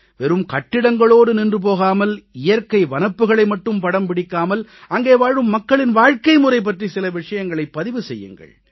வெறும் கட்டிடங்களோடு நின்று போகாமல் இயற்கை வனப்புகளை மட்டும் படம் பிடிக்காமல் அங்கே வாழும் மக்களின் வாழ்க்கைமுறை பற்றி சில விஷயங்களைப் பதிவு செய்யுங்கள்